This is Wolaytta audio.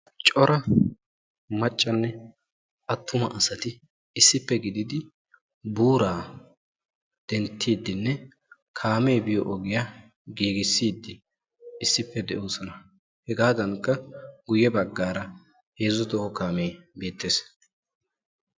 cora maccanne atumma asati issippe gididi buuraa dentiidinne kaammee biyo ogiyaa giigissiidi de'oosona. hegaadankka hegaadankka heezzu toho kaamme beettees.